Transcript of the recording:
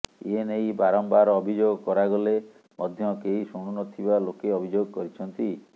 ଏନେଇ ବାରମ୍ବାର ଅଭିଯୋଗ କରାଗଲେ ମଧ୍ୟ କେହି ଶୁଣୁ ନ ଥିବା ଲୋକେ ଅଭିଯୋଗ କରିଛନ୍ତି